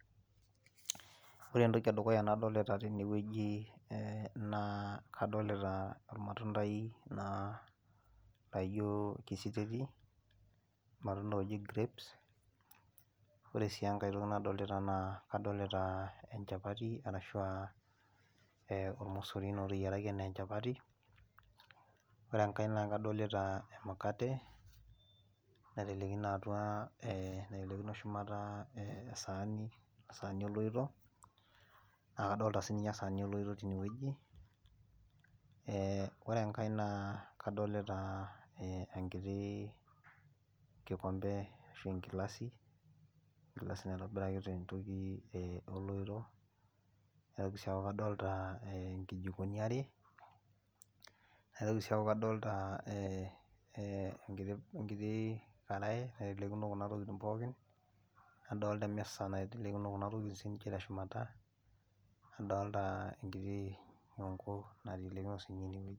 ore entoki eduuya nadoolita tene wueji naa kadolita ormatundai laijo kisiteti. ormatundai looji grapes ore sii enkae toki nadolita naa kadolita enchapati, arashu aa ormosori naa oteyiaraki anaa enchapati, ore enkae naa kadolta emukate naitelekino atua ee naitelekino esaani, esani oloito. naa kadoolta sii ninye esaani oloito teine wueji, ee ore enkae naa kadolita enkiti kikombe ashu enkilasi, enkilasi naitobiraki tentoki oloito. nitoki sii aaaku kadolita nkijikoni are. naitoki sii aaku kadolita enkiti are natelekino kuna tokitin pookin. nadoolta emisa naitelekino kuna tokitin teshumata, nadoolta enkiti nyoonko naitelekino sii ninye ine.